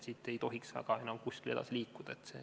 Siit ei tohiks enam väga kuskile edasi liikuda.